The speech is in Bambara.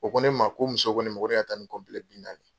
O ko ne ma ko muso ko ne ma ko ne ka taa ni bi naani ye.